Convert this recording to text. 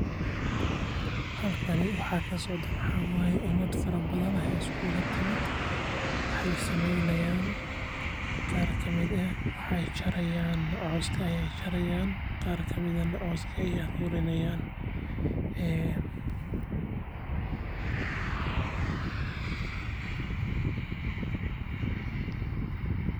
Halkan waxaa kasocdo waxaa waye umad fara badan ayaa iskugu imaate qaar kamid ah cooska ayeey jari haayan kuwa kalena waay arurimi haayan.